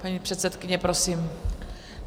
Paní předsedkyně, prosím.